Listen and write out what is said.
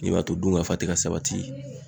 Min b'a to dun ka fa te ka sabati